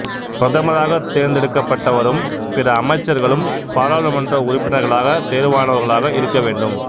பிரதமராக தேர்ந்தெடுக்கப்படுபவரும் பிற அமைச்சர்களும் பாராளுமன்ற உறுப்பினர்களாக தேர்வானவர்களாக இருக்க வேண்டும்